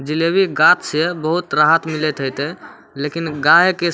जलेबी से बहुत राहत मिलइत होते लेकिन गाय के --